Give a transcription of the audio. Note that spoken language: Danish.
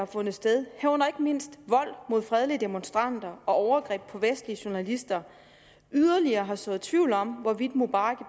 fundet sted herunder ikke mindst vold mod fredelige demonstranter og overgreb på vestlige journalister yderligere har sået tvivl om hvorvidt mubarak